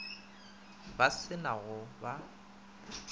ba se na go ba